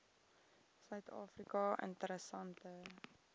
suid afrika interessante